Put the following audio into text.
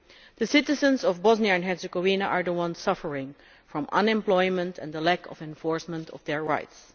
The citizens of Bosnia and Herzegovina are the ones suffering because of unemployment and the lack of enforcement of their rights.